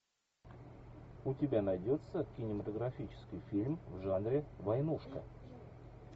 у тебя найдется кинематографический фильм в жанре войнушка